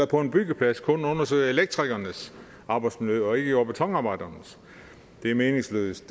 på en byggeplads kun undersøger elektrikernes arbejdsmiljø og ikke jord og betonarbejdernes det er meningsløst